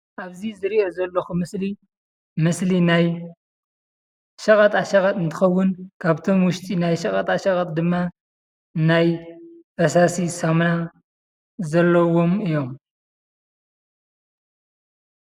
አብዚ ዝሪኦ ዘለኩ ምስሊ ምስሊ ናይ ሸቀጣ ሸቀጥ እንትኮውን ካብቶም ውሽጢ ናይ ሸቀጣ ሸቀጥ ድማ ናይ ፈሳሲ ሳሙና ዘለዎም እዩም፡፡